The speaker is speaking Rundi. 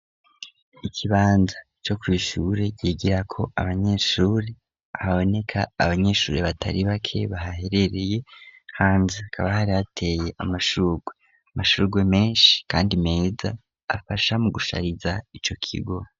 Ikibanza co kw’ishure ryigirako abanyeshuri ,haboneka abanyeshuri batari bake bahaherereye hanze hakaba hari hateye amashurwe, amashurgwe menshi kandi meza afasha mu gushariza ico kigo.